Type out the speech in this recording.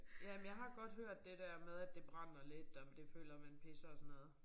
Ja men jeg godt hørt det dér med at det brænder lidt og det føler man pisser og sådan noget